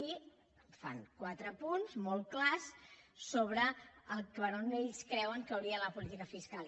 i fan quatre punts molt clars sobre per on ells creuen que hauria d’anar la política fiscal